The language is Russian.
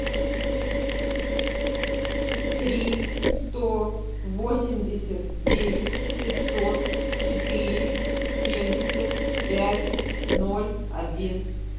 три сто восемьдесят девять пятьсот четыре семьдесят пять ноль один